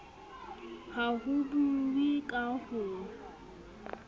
ha ho buuwe ka ho